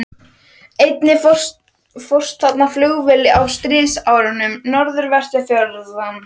Einnig fórst þarna flugvél á stríðsárunum, norðanvert við fjörðinn.